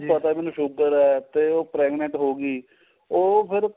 ਪਤਾ ਵੀ ਉਹਨੂੰ sugar ਏ ਤੇ ਉਹ pregnant ਹੋ ਗਈ ਉਹ ਫਿਰ